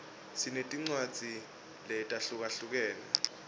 sinetincwadzi letahlukahlukene